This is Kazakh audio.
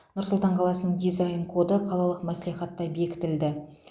нұр сұлтан қаласының дизайн коды қалалық мәслихатта бекітілді